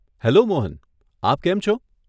Hello, Mohan, આપ કેમ છો?